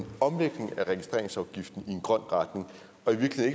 omlægning af registreringsafgiften i en grøn retning